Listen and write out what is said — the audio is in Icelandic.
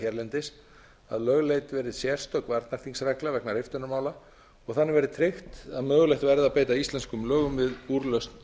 hérlendis að lögleidd verði sérstök varnarþingsregla vegna riftunarmála og þannig verði tryggt að mögulegt verði að beita íslenskum lögum við úrlausn